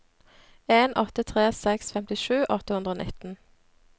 en åtte tre seks femtisju åtte hundre og nitten